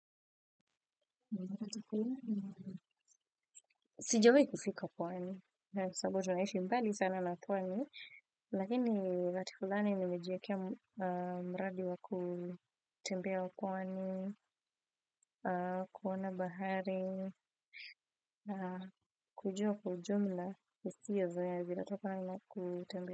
Sijawahi kufika pwani, sababu tunaishi mbali sana na pwani, lakini wakati fulani nimejiwe kea mradi wa kutembea pwani, kuona bahari, kujua kwa ujumla hisia zenye zinatokana na kutembea.